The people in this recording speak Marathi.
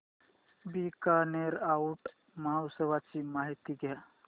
बीकानेर ऊंट महोत्सवाची माहिती द्या